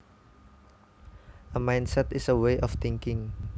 A mindset is a way of thinking